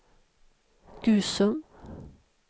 Gusum